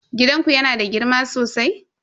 Gidanku yana da girma sosai?